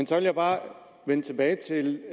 så vil jeg bare vende tilbage til